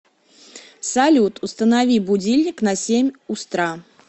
салют установи будильник на семь устра